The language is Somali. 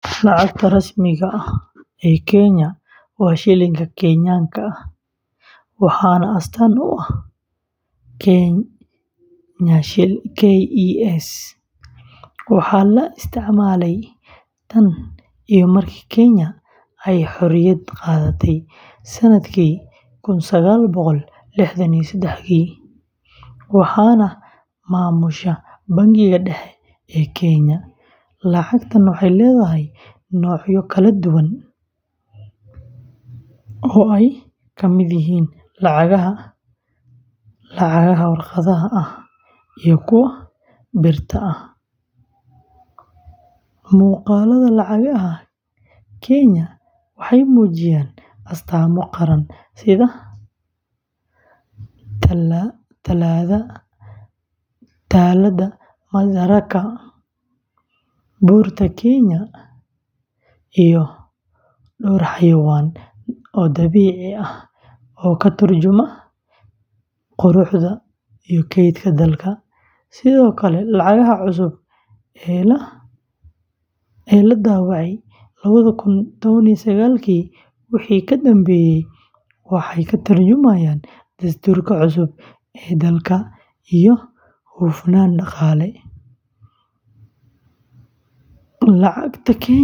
Lacagta rasmiga ah ee Kenya waa Shilingka Kenyan-ka, waxaana astaan u ah KES. Waxaa la isticmaalay tan iyo markii Kenya ay xorriyadda qaadatay kun sagaal boqol liixdan iyo sedaxdii, waxaana maamusha Bangiga Dhexe ee Kenya. Lacagtan waxay leedahay noocyo kala duwan oo ay ka mid yihiin lacagaha waraaqaha ah iyo kuwa birta ah. Muuqaalada lacagaha Kenya waxay muujiyaan astaamo qaran sida Taallada Madaraka, Buurta Kenya, iyo dhowr xayawaan dabiici ah oo ka tarjumaya quruxda iyo kaydka dalka. Sidoo kale, lacagaha cusub ee la daabacay lwadha kun tawan iyo sagaalkii wixii ka dambeeyay waxay ka tarjumayaan dastuurka cusub ee dalka iyo hufnaan dhaqaale. Lacagta Kenya waxay.